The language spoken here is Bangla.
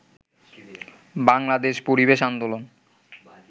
বাংলাদেশ পরিবেশ আন্দোলন